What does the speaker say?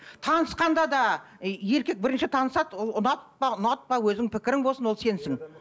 танысқанда да еркек бірінші танысады ол ұнатпа ұнатпа өзіңнің пікірің болсын ол сенсің